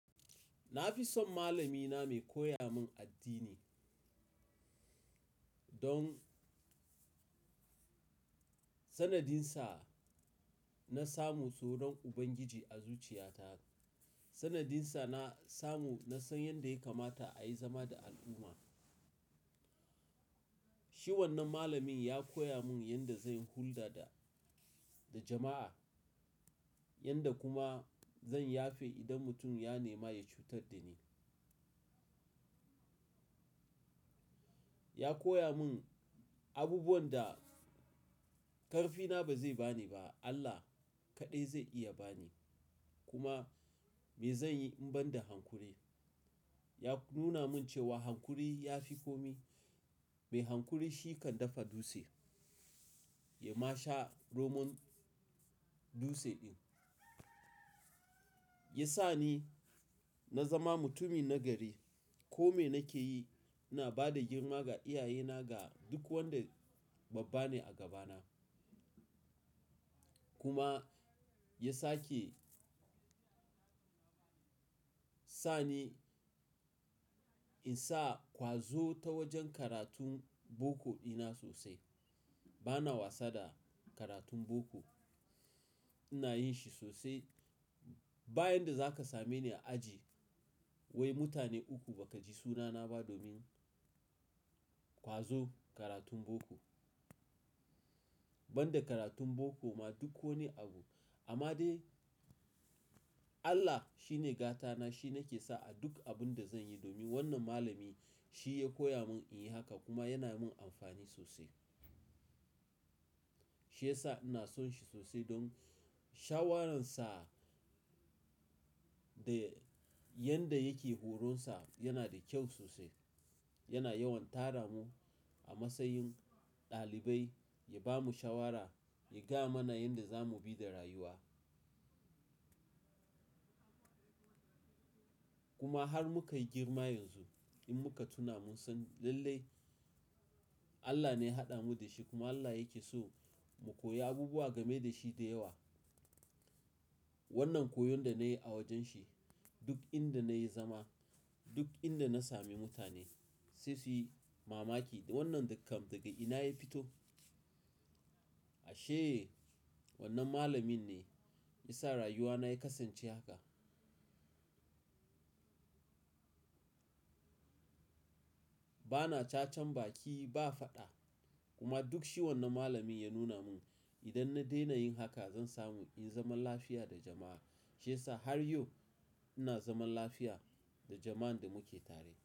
Na fi son malamina mai koya mun addini. Don sanadinsa na samu soron Ubangiji a zuciyata. Sanadinsa na samu na san yanda ya kamata a yi zama da al'umma. Shi wannan malamin ya koya mun yanda zan hulɗa da, da jama'a, yanda kuma zan yafe idan mutum ya nema ya cutar da ni. Ya koya mun abubuwan da ƙarfina ba zai ba ni ba, Allah kaɗai zai iya ba ni. Kuma me zanyi in ban da hankuri? Ya nuna mun cewa hankuri ya fi kome. Mai hankuri shi kan dafa dutse, ya ma sha romon dutse din. Ya sa ni na zama mutumin nagari. Ko me nake yi, na ba da girma ga iyayena ga duk wanda babba ne a gabana. Kuma ya sake sa ni in sa ƙwazo ta wajen karatun boko ina sosai. Bana wasa da karatun boko. Ina yin shi sosai. Bayan da za ka same ni a aji, wai mutane uku ba ka ji sunana ba domin ƙwazo karatun boko. Ban da karatun boko ma duk ko ne abu. Amma dai Allah shine gatana, shi nake sa a duk abun da zan yi domin wannan malami shi ya koya mun in yi haka kuma yana mun amfani sosai. Shiyasa ina son shi sosai don shawararsa da yanda yake horonsa yana da kyau sosai. Yana yawan tara mu a matsayin ɗalibai, ya ba mu shawara, ya gaya mana yanda za mu bi da rayuwa. Kuma har muka yi girma yanzu, in muka tuna mun san lallai Allah ne ya haɗa mu da shi kuma Allah yake so mu koyi abubuwa game da shi da yawa. Wannan koyon da na yi a wajen shi, duk inda na yi zama, duk inda na sami mutane, sai su yi mamaki, "Wannan dakan daga ina ya fito?" ashe wannan malamin ne ya sa rayuwa na ya kasance haka. Bana cacar baki ba faɗa. Kuma duk shi wannan malamin ya nuna mun idan na daina yin haka, zan samu in zama lafiya da jama'a. Shiyasa har yau ina zaman lafiya da jama'an da muke tare.